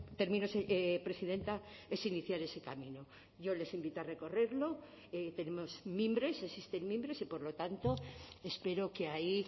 termino presidenta es iniciar ese camino yo les invito a recorrerlo tenemos mimbres existen mimbres y por lo tanto espero que ahí